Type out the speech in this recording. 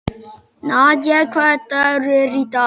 Nadia, hvaða dagur er í dag?